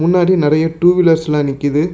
முன்னாடி நெறைய டூ வீலர்ஸ்லா நிக்கிது.